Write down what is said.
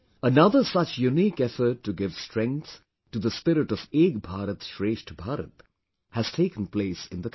Another such unique effort to give strength to the spirit of Ek Bharat, Shrestha Bharat has taken place in the country